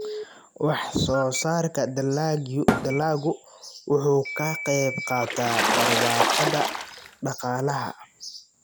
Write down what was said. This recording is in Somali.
Wax-soo-saarka dalaggu wuxuu ka qayb qaataa barwaaqada dhaqaalaha.